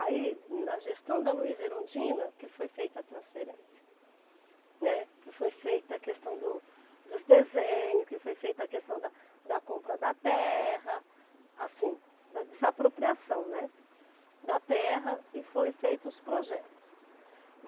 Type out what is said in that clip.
Aí, na gestão da Luíza Erundina, que foi feita a transferência, né, que foi feita a questão do dos desenhos, que foi feita a questão da da compra da terra, assim, da desapropriação, né, da terra e foram feitos os projetos.